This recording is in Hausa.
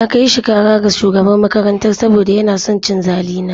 Na kai shi kara ga shugaban makarantar saboda yana son cin zali na.